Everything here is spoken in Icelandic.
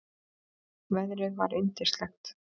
Veðrið var yndislegt.